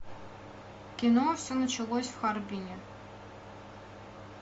кино все началось в харбине